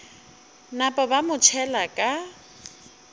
napa ba mo tšhela ka